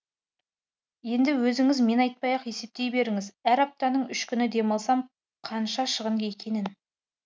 енді өзіңіз мен айтпай ақ есептей беріңіз әр аптаның үш күні демалсам қанша шығын екенін